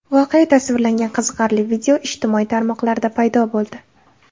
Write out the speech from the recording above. Voqea tasvirlangan qiziqarli video ijtimoiy tarmoqlarda paydo bo‘ldi.